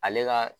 Ale ka